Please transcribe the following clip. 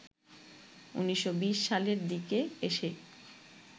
১৯২০ সালের দিকে এসে